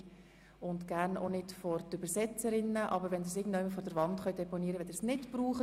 Und stellen Sie die Kamera bitte auch nicht vor die Übersetzerinnen, sondern irgendwo vor die Wand, wenn Sie sie nicht brauchen.